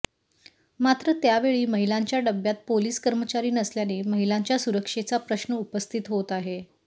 मात्र त्यावेळी महिलांच्या डब्यात पोलीस कर्मचारी नसल्याने महिलांच्या सुरक्षेचा प्रश्न उपस्थित होत आहे